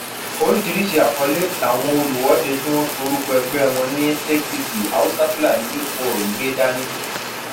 oríṣiríṣii àkọlé làwọn olùwọde tí wọn pe orúkọ ẹgbẹ wọn ní apc haúsáfúlani youth forum gbé dání